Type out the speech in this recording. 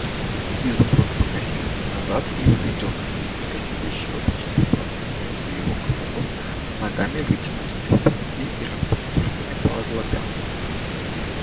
изумруд покосился назад и увидел наездника сидящего почти вплотную за его крупом с ногами вытянутыми вперёд и растопыренными по оглоблям